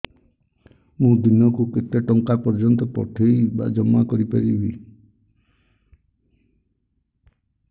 ମୁ ଦିନକୁ କେତେ ଟଙ୍କା ପର୍ଯ୍ୟନ୍ତ ପଠେଇ ବା ଜମା କରି ପାରିବି